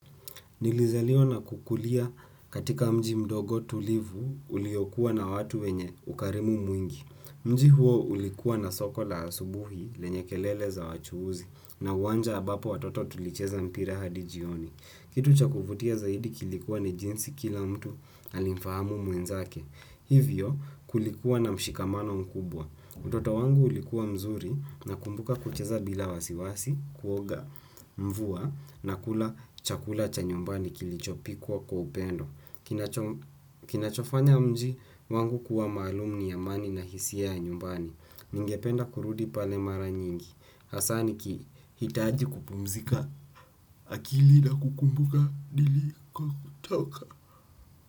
Nilizaliwa na kukulia katika mji mdogo tulivu uliyokuwa na watu wenye ukarimu mwingi. Mji huo ulikuwa na soko la asubuhi lenye kelele za wachuuzi na uwanja ambapo watoto tulicheza mpira hadi jioni. Kitu cha kuvutia zaidi kilikuwa ni jinsi kila mtu alimufahamu mwenzake. Hivyo kulikuwa na mshikamano mkubwa. Utoto wangu ulikuwa mzuri na kumbuka kucheza bila wasiwasi kuoga mvua na kula chakula cha nyumbani kilichopikwa kwa upendo. Kinachofanya mji wangu kuwa maalum ni amani na hisia ya nyumbani. Ningependa kurudi pale mara nyingi. Hasa nikihitaji kupumzika akili na kukumbuka niliko toka.